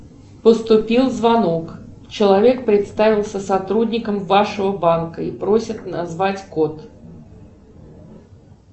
поступил звонок человек представился сотрудником вашего банка и просит назвать код